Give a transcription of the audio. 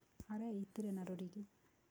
Areitire na rũrigi.